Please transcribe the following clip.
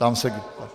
Ptám se...